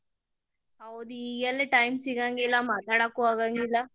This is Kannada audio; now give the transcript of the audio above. ಹೌದ್ ಈಗೆಲ್ಲೆ time ಸಿಗಂಗಿಲ್ಲ, ಮಾತಾಡಾಕು ಆಗಂಗಿಲ್ಲ.